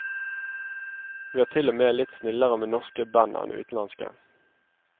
Vi er til og med litt snillere med norske band enn utenlandske.